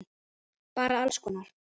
Bara alls konar.